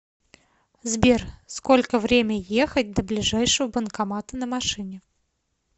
сбер сколько время ехать до ближайшего банкомата на машине